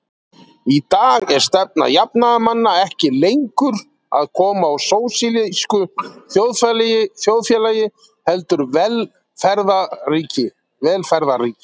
Í dag er stefna jafnaðarmanna ekki lengur að koma á sósíalísku þjóðfélagi heldur velferðarríki.